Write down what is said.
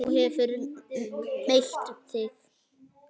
Þú hefur meitt þig!